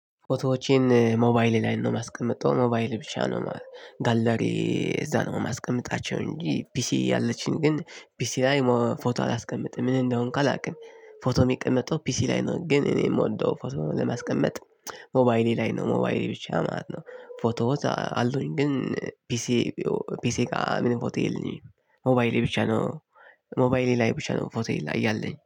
ፎቶዎቼን ሞባይሌ ላይ ነው የማስቀምጠው ሞባይሌ ብቻ ነው ጋለሪዬ እዛ ነው የማስቀምጣቸው እንጂ ፒሲ አለችኝ ግን ፒሲ ላይ ፎቶ አላስቀምጥም ምን እንደሆንኩ አላውቅም። ፎቶ የሚቀመጠው ፒሲ ላይ ነው ግን እኔ የምወደው ፎቶ ለማስቀመጥ። ሞባይሌ ላይ ነው ሞባይሌ ብቻ ማለት ነው። ፎቶዎች አሉኝ ግን ፒሲ ፒሲ ጋር ምንም ፎቶ የለኝም። ሞባይሌ ብቻ ነው። ሞባይሌ ላይ ብቻ ነው ፎቶዬ ላይ ያለኝ